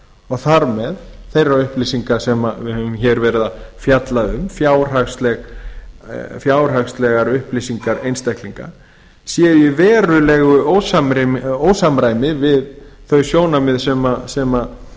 og þar með þeirra upplýsinga sem við höfum verið að fjalla um fjárhagslegar upplýsingar einstaklinga séu í verulegu ósamræmi við þau sjónarmið sem